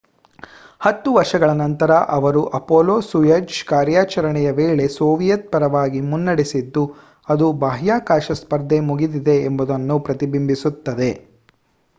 ಹತ್ತು ವರ್ಷಗಳ ನಂತರ ಅವರು ಅಪೊಲೊ-ಸೋಯುಜ್ ಕಾರ್ಯಾಚರಣೆಯ ವೇಳೆ ಸೋವಿಯತ್ ಪರವಾಗಿ ಮುನ್ನಡೆಸಿದ್ದು ಅದು ಬಾಹ್ಯಾಕಾಶ ಸ್ಪರ್ಧೆ ಮುಗಿದಿದೆ ಎಂಬುದನ್ನು ಪ್ರತಿಬಿಂಬಿಸುತ್ತದೆ